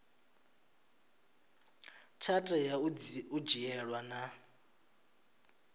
tsha tea u dzhielwa nha